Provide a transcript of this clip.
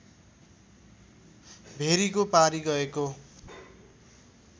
भेरीको पारी गएको